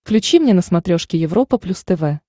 включи мне на смотрешке европа плюс тв